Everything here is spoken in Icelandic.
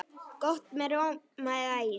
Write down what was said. Gott með rjóma eða ís.